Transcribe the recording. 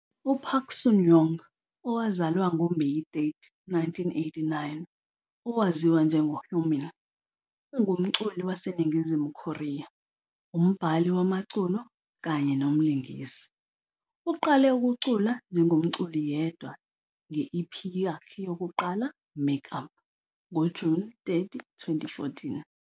UPark Sun-young, owazalwa ngoMeyi 30, 1989, owaziwa njengoHyomin, ungumculi waseNingizimu Korea, umbhali wamaculo kanye nomlingisi. Uqale ukucula njengomculi yedwa nge-EP yakhe yokuqala, "Make Up", ngoJuni 30, 2014.